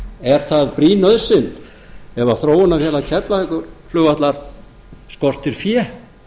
er það brýn nauðsyn ef þróunarfélag keflavíkurflugvallar skortir fé